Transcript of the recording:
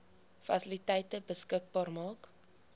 fasiliteite beskikbaar maak